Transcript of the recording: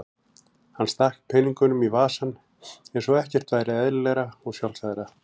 Hann stakk peningunum í vasann eins og ekkert væri eðlilegra og sjálfsagðara.